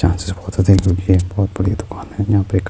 یھاں سے بہت ادھک در ہے، بہت بڈی دکان ہے-